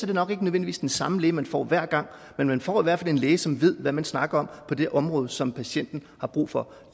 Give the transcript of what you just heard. det nok ikke nødvendigvis den samme læge man får hver gang men man får i hvert fald en læge som ved hvad man snakker om på det område som patienten har brug for